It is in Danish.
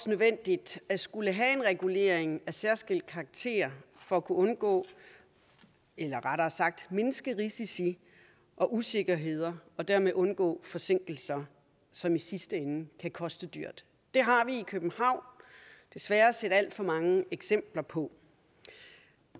nødvendigt at skulle have en regulering af særskilt karakter for at kunne undgå eller rettere sagt mindske risici og usikkerheder og dermed undgå forsinkelser som i sidste ende kan koste dyrt det har vi i københavn desværre set alt for mange eksempler på